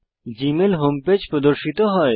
Gmail home page প্রদর্শিত হয়